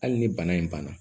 Hali ni bana in banna